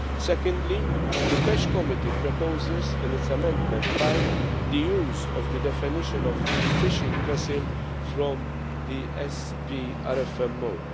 Secondly, the PECH Committee proposes, in its Amendment 5, the use of the definition of fishing vessel' from the SPRFMO.